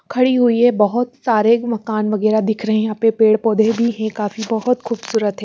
खड़ी हुई है बहोत सारे मकान वगेरा दिख रहे है यह पे पेड़ पोधे भी है काफी बहोत खुबसुरत है ।